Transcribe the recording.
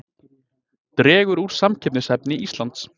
Dregur úr samkeppnishæfni Íslands